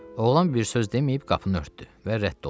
Oğlan bir söz deməyib qapını örtdü və rədd oldu.